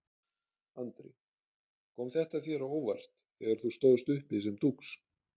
Andri: Kom þér þetta á óvart þegar þú stóðst uppi sem dúx?